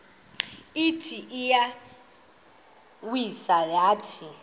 ithi iyawisa yathi